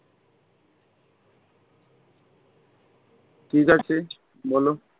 ঠিক আছে বলো।